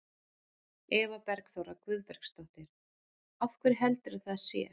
Eva Bergþóra Guðbergsdóttir: Af hverju heldurðu að það sé?